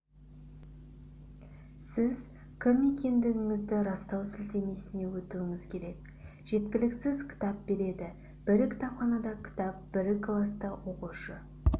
сіз кім екендігіңізді растау сілтемесіне өтуіңіз керек жеткіліксіз кітап береді бір кітапханада кітап бір класта оқушы